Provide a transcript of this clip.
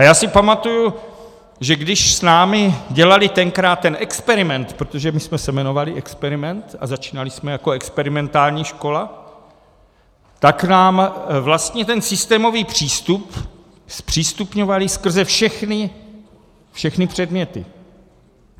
A já si pamatuji, že když s námi dělali tenkrát ten experiment, protože my jsme se jmenovali experiment a začínali jsme jako experimentální škola, tak nám vlastně ten systémový přístup zpřístupňovali skrze všechny předměty.